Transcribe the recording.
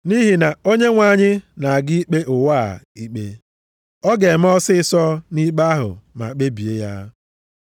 Nʼihi na Onyenwe anyị na-aga ikpe ụwa a ikpe. Ọ ga-eme ọsịịsọ nʼikpe ahụ ma kpebie ya.” + 9:28 \+xt Aịz 10:22,23\+xt*